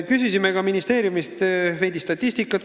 Küsisime ministeeriumist veidi statistikat.